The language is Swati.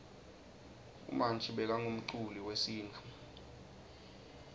umanji bekangumculi wesintfu